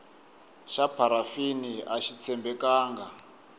xa pharafini axi tshembekanga